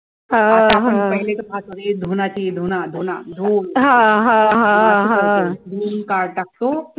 धुना ती धुना धुना धुवून मी काळ टाकतो